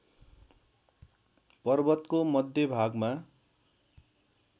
पर्वतको मध्य भागमा